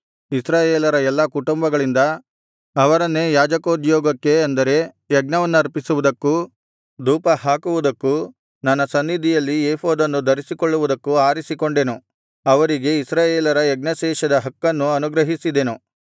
ಇಸ್ರಾಯೇಲರ ಎಲ್ಲಾ ಕುಟುಂಬಗಳಿಂದ ಅವರನ್ನೇ ಯಾಜಕೋದ್ಯೋಗಕ್ಕೆ ಅಂದರೆ ಯಜ್ಞವನ್ನರ್ಪಿಸುವುದಕ್ಕೂ ಧೂಪಹಾಕುವುದಕ್ಕೂ ನನ್ನ ಸನ್ನಿಧಿಯಲ್ಲಿ ಏಫೋದನ್ನು ಧರಿಸಿಕೊಳ್ಳುವುದಕ್ಕೂ ಆರಿಸಿಕೊಂಡೆನು ಅವರಿಗೆ ಇಸ್ರಾಯೇಲರ ಯಜ್ಞಶೇಷದ ಹಕ್ಕನ್ನು ಅನುಗ್ರಹಿಸಿದೆನು